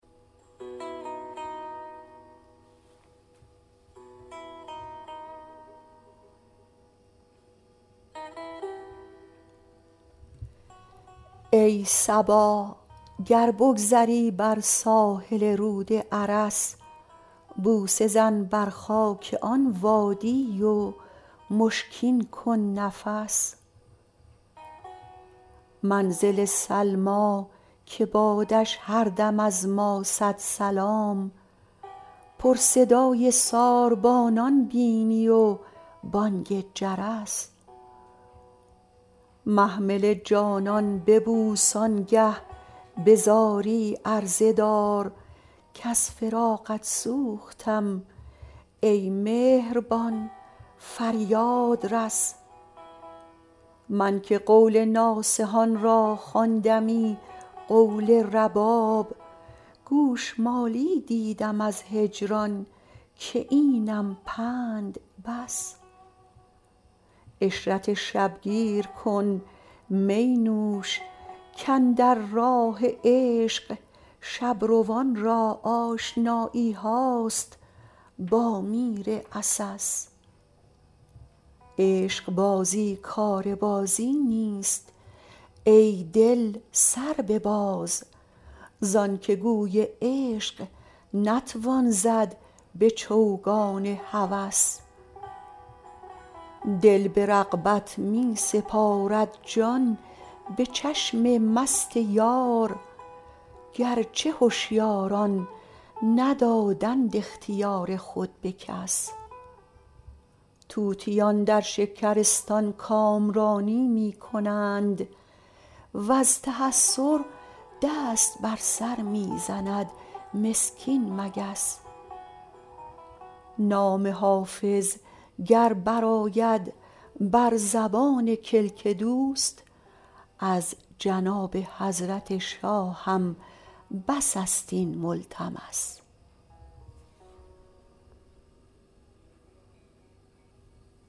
ای صبا گر بگذری بر ساحل رود ارس بوسه زن بر خاک آن وادی و مشکین کن نفس منزل سلمی که بادش هر دم از ما صد سلام پر صدای ساربانان بینی و بانگ جرس محمل جانان ببوس آن گه به زاری عرضه دار کز فراقت سوختم ای مهربان فریاد رس من که قول ناصحان را خواندمی قول رباب گوش مالی دیدم از هجران که اینم پند بس عشرت شب گیر کن می نوش کاندر راه عشق شب روان را آشنایی هاست با میر عسس عشق بازی کار بازی نیست ای دل سر بباز زان که گوی عشق نتوان زد به چوگان هوس دل به رغبت می سپارد جان به چشم مست یار گر چه هشیاران ندادند اختیار خود به کس طوطیان در شکرستان کامرانی می کنند و از تحسر دست بر سر می زند مسکین مگس نام حافظ گر برآید بر زبان کلک دوست از جناب حضرت شاهم بس است این ملتمس